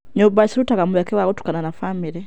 Nyũmba cirutaga mweke wa gũtukana ta bamĩrĩ.